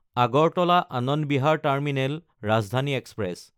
Agartala Anand Vihar terminal Rajdhani express